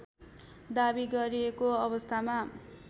दावी गरिएको अवस्थामा